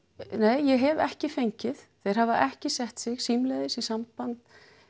nei ég hef ekki fengið þeir hafa ekki sett sig símleiðis í samband